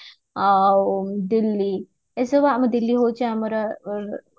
ଆଉ ଦିଲ୍ଲୀ ଏସବୁ ଆମ ଦିଲ୍ଲୀ ହଉଛି ଆମର